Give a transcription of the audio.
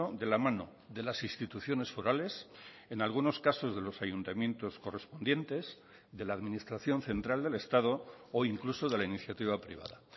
de la mano de las instituciones forales en algunos casos de los ayuntamientos correspondientes de la administración central del estado o incluso de la iniciativa privada